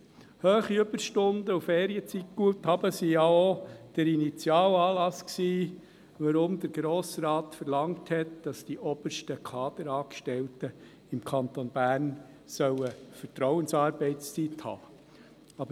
Hohe Überstunden und Ferienzeitguthaben waren denn auch der Initialanlass, weshalb der Grosse Rat verlangt hat, dass die obersten Kaderangestellten im Kanton Bern Vertrauensarbeitszeit haben sollen.